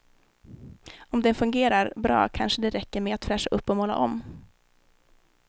Om den fungerar bra kanske det räcker med att fräscha upp och måla om.